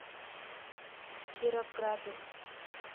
кировграду